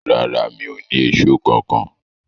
Rárá, mi o ni Èṣó kankan.